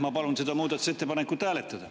Ma palun seda muudatusettepanekut hääletada.